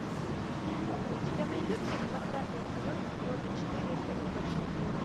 у тебя найдется двадцатый эпизод сезона четыре секс в большом городе